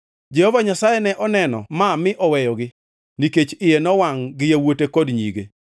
Jehova Nyasaye ne oneno ma mi oweyogi nikech iye nowangʼ gi yawuote kod nyige.